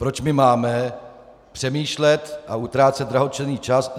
Proč my máme přemýšlet a utrácet drahocenný čas.